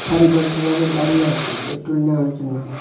সারিবদ্ধভাবে দাঁড়িয়ে আছে পেট্রোল নেওয়ার জন্য।